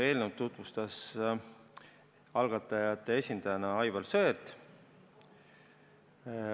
Eelnõu tutvustas algatajate esindajana Aivar Sõerd.